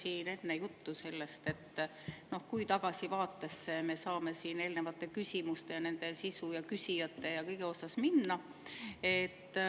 Enne oli siin juttu sellest, kui tagasi me saame siin eelnevate küsimuste, nende sisu, küsijate ja kõigega minna.